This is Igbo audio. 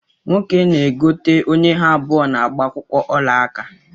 Nwoke na-egote onye ha abụọ na-gbaa akwụkwọ olaaka